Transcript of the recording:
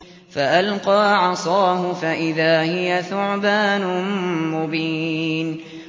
فَأَلْقَىٰ عَصَاهُ فَإِذَا هِيَ ثُعْبَانٌ مُّبِينٌ